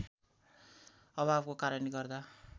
अभावको कारणले गर्दा